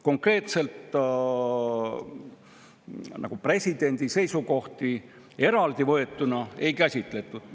Konkreetselt presidendi seisukohti eraldi võetuna ei käsitletud.